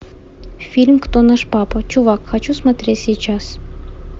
фильм кто наш папа чувак хочу смотреть сейчас